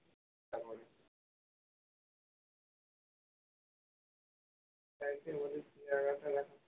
digestion পেয়ারা খেলে